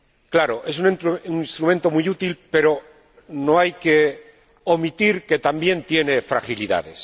Claro, es un instrumento muy útil, pero no hay que omitir que también tiene fragilidades.